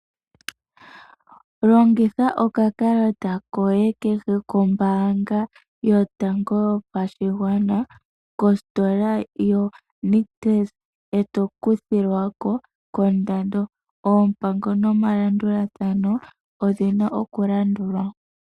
Longitha oka kalata koye kehe kombaanga yotango yopashigwana kositola ya Nictus ee to kuthilwako koondando. Oompango nomalandulathano odhi na oku landulwa.